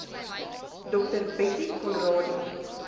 dr bettie conradie